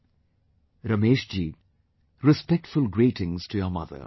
" Ramesh ji , respectful greetings to your mother